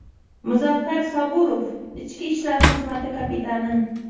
Muzaffar Saburov, ichki ishlar xizmati kapitani.